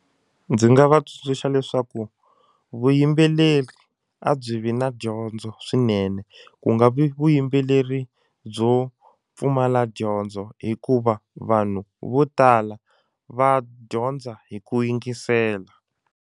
Ndzi nga va tsundzuxa leswaku vuyimbeleri a byi vi na dyondzo swinene ku nga vi vuyimbeleri byo pfumala dyondzo hikuva vanhu vo tala va dyondza hi ku yingisela.